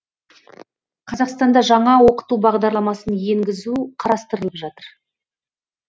қазақстанда жаңа оқыту бағдарламасын енгізу қарастырылып жатыр